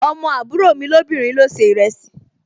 Ọmọ àbúrò mi lóbìnrin ló se ìrẹsì